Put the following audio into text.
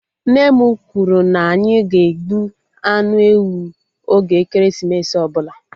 Nne m kwụrụ na anyị ga-egbu anụ ewu oge ekeresimesi ọbụla